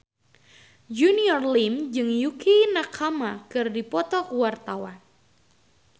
Junior Liem jeung Yukie Nakama keur dipoto ku wartawan